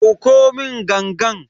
Dauko mun gangan.